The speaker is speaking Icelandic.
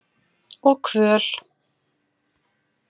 Og kvöl.